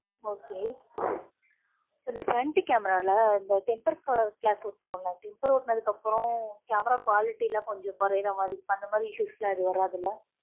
Okay இந்த front camera ல, இந்த temper class விட்டுருவோம்ல, temper ஒட்டுனதுக்கு அப்புறம், camera quality ல, கொஞ்சம் குறையிற மாதிரி இருக்கும். அந்த மாதிரி, issues எல்லாம், எதுவும் வராது இல்லை